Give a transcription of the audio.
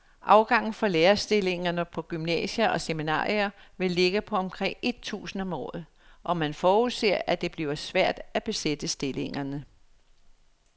Afgangen fra lærerstillingerne på gymnasier og seminarier vil ligge på omkring et tusind om året, og man forudser, at det bliver svært at besætte stillingerne.